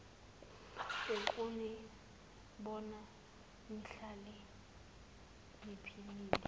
ukunibona nihlale niphilile